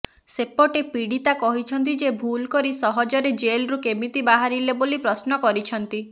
ସେପଟେ ପୀଡିତା କହିଛନ୍ତି ଯେ ଭୁଲ୍ କରି ସହଜରେ ଜେଲ୍ରୁ କେମିତି ବାହାରିଲେ ବୋଲି ପ୍ରଶ୍ନ କରିଛନ୍ତି